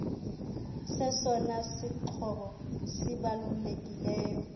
sesona sixhobo sibalulekileyo